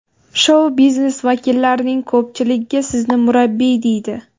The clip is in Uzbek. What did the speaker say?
Shou-biznes vakillarining ko‘pchiligiga sizni murabbiy deydi.